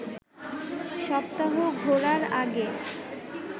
সপ্তাহ ঘোরার আগে